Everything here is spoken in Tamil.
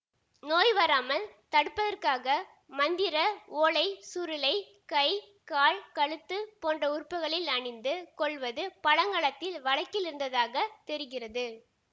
நோய்வராமல் தடுப்பதற்காக மந்திர ஓலை சுருளைக் கை கால் கழுத்து போன்ற உறுப்புக்களில் அணிந்து கொள்வது பழங்காலத்தில் வழக்கில் இருந்ததாகத் தெரிகிறது